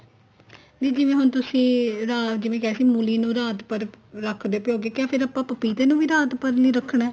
ਦੀ ਜਿਵੇਂ ਹੁਣ ਤੁਸੀਂ ਇਹਦਾ ਜਿਵੇਂ ਕਹਿ ਰਹੇ ਸੀ ਮੂਲੀ ਨੂੰ ਰਾਤ ਭਰ ਰੱਖਦੇ ਭਿਉ ਕੇ ਕਿਆ ਫੇਰ ਆਪਾਂ ਪਪੀਤੇ ਨੂੰ ਵੀ ਰਾਤ ਭਰ ਲਈ ਰੱਖਣਾ